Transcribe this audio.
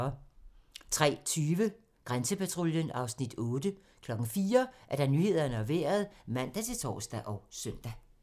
03:30: Grænsepatruljen (Afs. 8) 04:00: Nyhederne og Vejret (man-tor og søn)